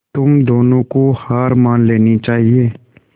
तुम दोनों को हार मान लेनी चाहियें